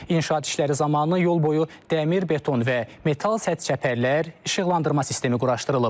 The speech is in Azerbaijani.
İnşaat işləri zamanı yol boyu dəmir beton və metal sədd çəpərlər, işıqlandırma sistemi quraşdırılıb.